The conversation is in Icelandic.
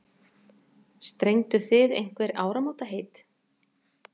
Strengduð þið einhver áramótaheit?